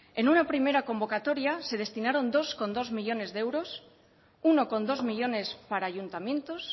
en una primera convocatoria se destinaron dos coma dos millónes de euros uno coma dos millónes para ayuntamientos